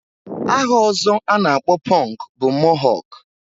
Aha ọzọ a na-akpọ pọnk bụ mohọk